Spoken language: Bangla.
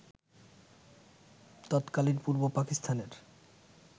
তৎকালীন পূর্ব পাকিস্তানের